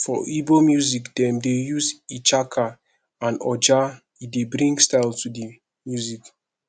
for igbo music dem dey use ichaka and oja e dey bring style to di music